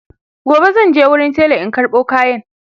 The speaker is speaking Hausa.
gobe zanje wurin tela in karɓo kayan